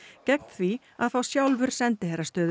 gegn því að fá sjálfur sendiherrastöðu